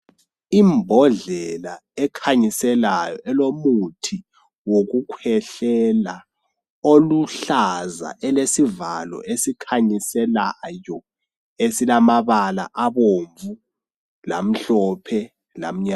Imbodlela ekhanyiselayo, elomuthi wokukhwehlela. Oluhlaza, elesivalo esikhanyiselayo esilamabala abomvu, lamhlophe, lamnyama.